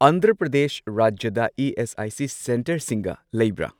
ꯑꯟꯙ꯭ꯔ ꯄ꯭ꯔꯗꯦꯁ ꯔꯥꯖ꯭ꯌꯗ ꯏ.ꯑꯦꯁ.ꯑꯥꯏ.ꯁꯤ. ꯁꯦꯟꯇꯔꯁꯤꯡꯒ ꯂꯩꯕ꯭ꯔꯥ?